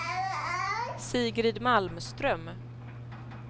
Sigrid Malmström